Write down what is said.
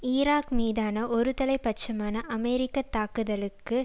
Iraq மீதான ஒருதலை பட்சமான அமெரிக்க தாக்குதலுக்கு